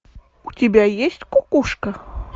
у тебя есть кукушка